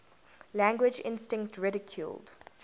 language instinct ridiculed